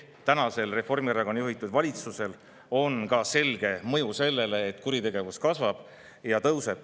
Tänasel Reformierakonna juhitud valitsusel on selge mõju ka sellele, et kuritegevus kasvab.